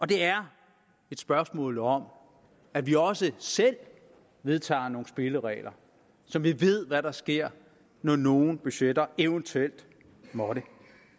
det er et spørgsmål om at vi også selv vedtager nogle spilleregler så vi ved hvad der sker når nogle budgetter eventuelt måtte